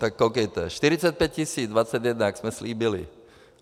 Tak koukejte, 45 tis. - 2021, jak jsme slíbili.